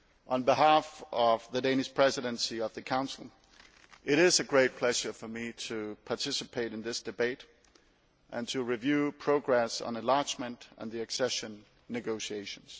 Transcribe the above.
On behalf of the Danish Presidency of the Council, it is a great pleasure for me to participate in this debate and to review progress on enlargement and the accession negotiations.